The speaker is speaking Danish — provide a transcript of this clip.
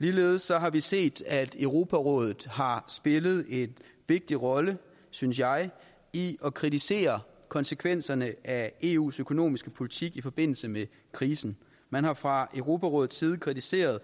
ligeledes har vi set at europarådet har spillet en vigtig rolle synes jeg i at kritisere konsekvenserne af eus økonomiske politik i forbindelse med krisen man har fra europarådets side kritiseret